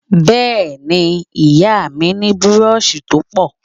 Bẹ́ẹ́ ni, ìyá mi ní búróóṣì tó pọ̀.